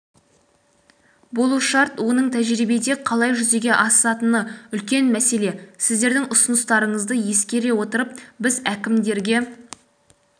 болу шарт оның тәжірибеде қалай жүзеге асатыны үлкен мәселе сіздердің ұсыныстарыңызды ескере отырып біз әкімдерге